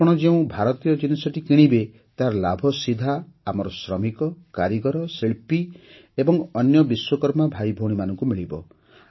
ଆପଣ ଯେଉଁ ଭାରତୀୟ ଜିନିଷଟି କିଣିବେ ତାର ଲାଭ ସିଧା ଆମର ଶ୍ରମିକ କାରିଗର ଶିଳ୍ପୀ ଏବଂ ଅନ୍ୟ ବିଶ୍ୱକର୍ମା ଭାଇଭଉଣୀମାନଙ୍କୁ ମିଳିବ